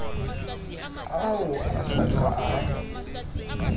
ao a sa ka a